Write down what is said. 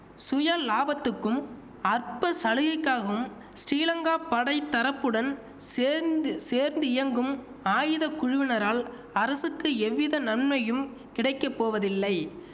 சுயலாபத்துக்கும் அற்ப சலுகைக்காகவும் ஸ்டீலங்கா படைதரப்புடன் சேர்ந்து சேர்ந்து இயங்கும் ஆயுத குழுவினரால் அரசுக்கு எவ்வித நன்மையும் கிடைக்க போவதில்லை